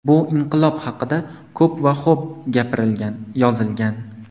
Bu inqilob haqida ko‘p va xo‘b gapirilgan, yozilgan.